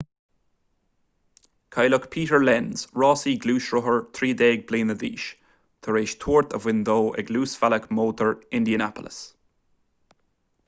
cailleadh peter lenz rásaí gluaisrothair 13 bliana d'aois tar éis tuairt a bhain dó ag luasbhealach mótair indianapolis